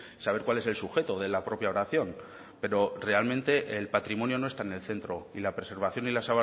saber cuál es el sujeto de la propia oración pero realmente el patrimonio no está en el centro y la preservación y la